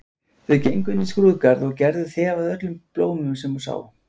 Þau gengu inn í skrúðgarð og Gerður þefaði af öllum blómum sem hún sá.